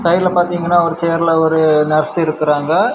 சைடுல பாத்தீங்கன்னா ஒரு சேர்ல ஒரு நர்ஸ் இருக்காங்க.